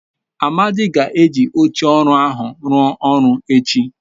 amadi ga-eji oche oru ahu rua oru echi